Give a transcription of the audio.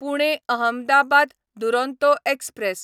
Pune Ahmedabad Duronto express